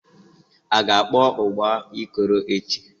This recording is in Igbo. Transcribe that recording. A ga-akpọ ụgba Ikoro echi?